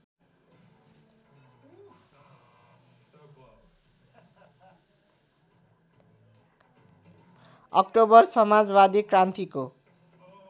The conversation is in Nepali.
अक्टोबर समाजवादी क्रान्तिको